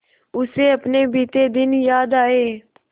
उसे अपने बीते दिन याद आए